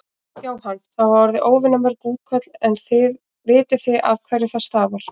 Jóhann: Það hafa orði óvenju mörg útköll en vitið þið af hverju það stafar?